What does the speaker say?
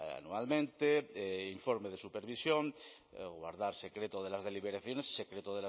anualmente informe de supervisión guardar secreto de las deliberaciones secreto